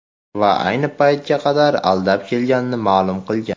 Va ayni paytga qadar aldab kelganini ma’lum qilgan.